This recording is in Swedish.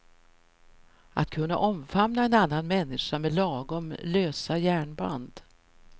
Att kunna omfamna en annan människa med lagom lösa järnband.